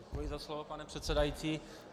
Děkuji za slovo, pane předsedající.